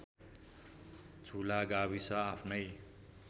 झुला गाविस आफ्नै